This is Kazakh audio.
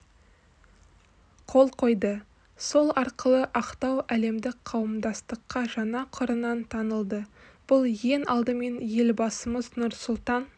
қол қойды сол арқылы ақтау әлемдік қауымдастыққа жаңа қырынан танылды бұл ең алдымен елбасымыз нұрсұлтан